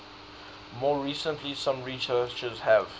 more recently some researchers have